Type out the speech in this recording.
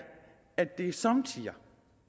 at det somme tider